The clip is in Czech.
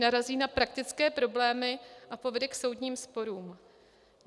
Narazí na praktické problémy a povede k soudním sporům.